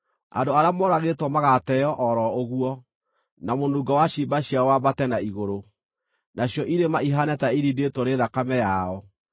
Andũ arĩa moragĩtwo magaateo o ro ũguo, na mũnungo wa ciimba ciao wambate na igũrũ; nacio irĩma ihaane ta irindĩtwo nĩ thakame yao.